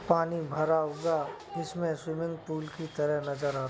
पानी भरा हुआ इसमें स्विमिंग पूल की तरह नज़र आ --